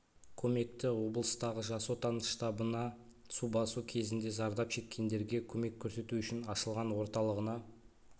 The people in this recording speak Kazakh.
көмекті облыстағы жас отан штабына су басу кезіндегі зардап шеккендерге көмек көрсету үшін ашылған орталығына